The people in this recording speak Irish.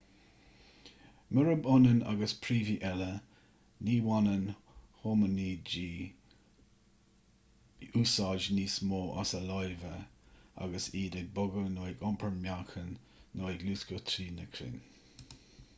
murab ionann agus príomhaigh eile ní bhaineann homainidí úsáid níos mó as a lámha agus iad ag bogadh nó ag iompar meáchain nó ag luascadh trí na crainn